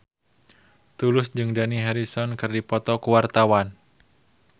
Tulus jeung Dani Harrison keur dipoto ku wartawan